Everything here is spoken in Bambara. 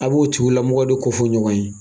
A' b'o tigulamɔgɔ de kofɔ ɲɔgɔn ye.